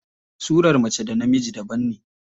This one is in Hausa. Surar mace da na mijin daban ne.